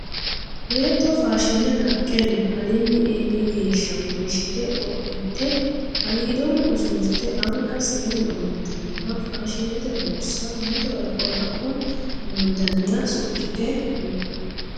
Beetto faashine naqe no, alinni eelli geeshsha wonshite qodhite aliidono usurte anga seennu amaxanoha faashinete borsa mitore qoraho amandaniha suxite no